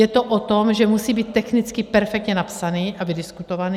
Je to o tom, že musí být technicky perfektně napsaný a vydiskutovaný.